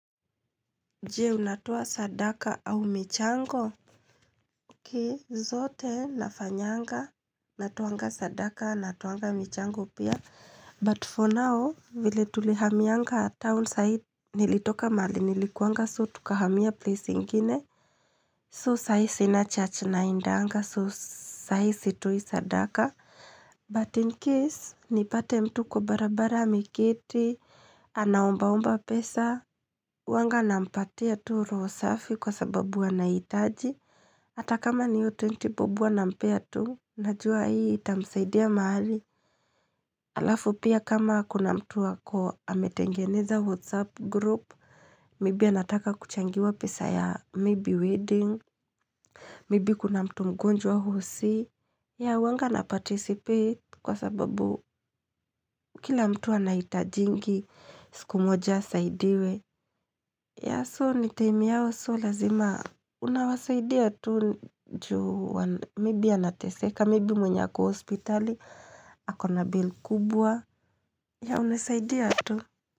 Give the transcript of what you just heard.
Je, unatoa sadaka au michango? Okay zote nafanyanga Natoanga sadaka natoanga michango pia But for now vile tulihamianga town side Nilitoka mahali nilikuanga so tukahamia place ingine So sai sina church naendanga so sai sitoi sadaka But in case nipate mtu kwa barabara ameketi Anaombaomba pesa huwanga nampatia tu roho safi kwa sababu anahitaji. Hata kama ni hiyo twenti bob huwa nampea tu, najua hii itamsaidia mahali. Alafu pia kama kuna mtu ako ametengeneza whatsapp group, maybe anataka kuchangiwa pesa ya maybe wedding, maybe kuna mtu mgonjwa hosi. Yeah huwanga na participate kwa sababu kila mtu anahitajingi, siku moja asaidiwe. Yeah so time yao so lazima unawasaidia tu juu maybe anateseka maybe mwenye ako hospitali akona bail kubwa yeah unasaidia tu.